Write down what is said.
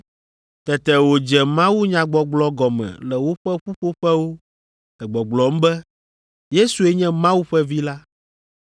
Tete wòdze mawunyagbɔgblɔ gɔme le woƒe ƒuƒoƒewo le gbɔgblɔm be Yesue nye Mawu ƒe Vi la.